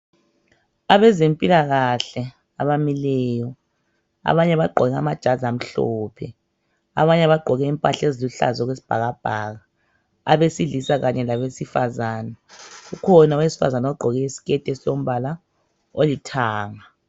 Abezempilakahle abamileyo, abanye bagqoke amajazi amhlophe, abanye bagqoke impahla eziluhlaza okwesibhakabhaka. Abesilisa kanye labesifazane. Kukhona owesifazana ogqoke i siketi esilombala olithanga.